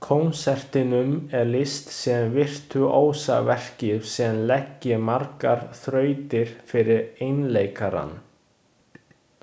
Konsertinum er lýst sem virtúósaverki sem leggi margar þrautir fyrir einleikarann.